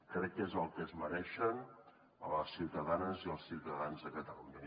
crec que és el que es mereixen les ciutadanes i els ciutadans de catalunya